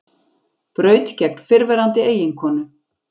Braut gegn fyrrverandi eiginkonu